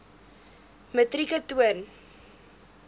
metrieke ton